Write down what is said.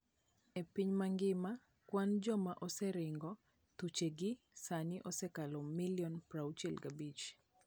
E piny mangima, kwan joma oseringo thuchegi sani osekalo milion 65.